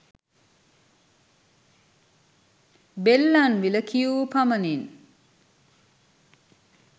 බෙල්ලන්විල කියූ පමණින්